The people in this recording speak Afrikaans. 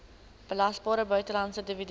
belasbare buitelandse dividend